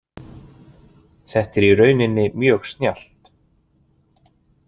Þetta er í rauninni mjög snjallt.